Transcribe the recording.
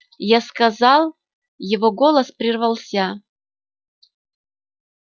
я сказал его голос прервался